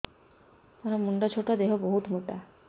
ମୋର ମୁଣ୍ଡ ଛୋଟ ଦେହ ବହୁତ ମୋଟା